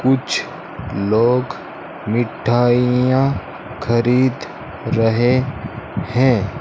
कुछ लोग मिठाइयां खरीद रहे हैं।